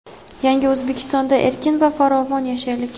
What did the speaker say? "Yangi O‘zbekistonda erkin va farovon yashaylik!"